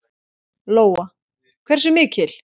Lóa: Hversu mikil?